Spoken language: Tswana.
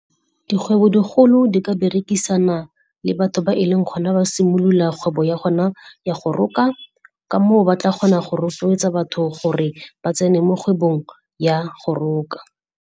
Dikgwebo-digolo di ka berekisana le batho ba e leng gona ba simolola kgwebo ya gona ya go roka ka moo ba tla kgona go rotloetsa batho gore ba tsene mo kgwebong ya go roka.